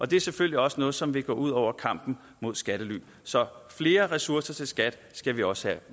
det er selvfølgelig også noget som vil gå ud over kampen mod skattely så flere ressourcer til skat skal vi også have